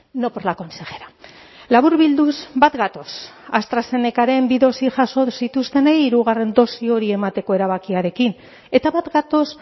no por la consejera laburbilduz bat gatoz astrazenecaren bi dosi jaso zituztenei hirugarren dosi hori emateko erabakiarekin eta bat gatoz